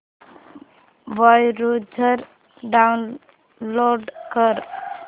browser download कर